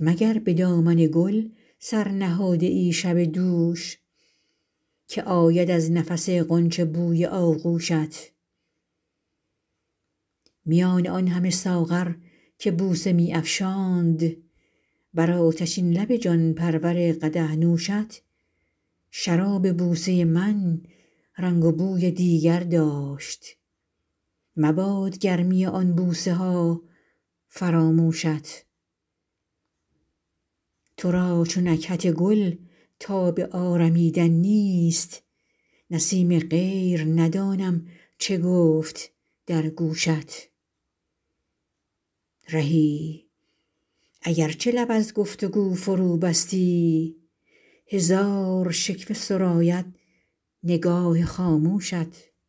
مگر به دامن گل سر نهاده ای شب دوش که آید از نفس غنچه بوی آغوشت میان آن همه ساغر که بوسه می افشاند بر آتشین لب جان پرور قدح نوشت شراب بوسه من رنگ و بوی دیگر داشت مباد گرمی آن بوسه ها فراموشت تو را چو نکهت گل تاب آرمیدن نیست نسیم غیر ندانم چه گفت در گوشت رهی اگرچه لب از گفتگو فروبستی هزار شکوه سراید نگاه خاموشت